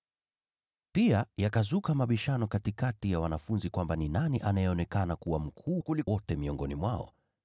Pia yakazuka mabishano katikati ya wanafunzi kwamba ni nani aliyeonekana kuwa mkuu kuliko wote miongoni mwao.